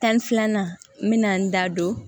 Tan ni filanan n bɛna n da don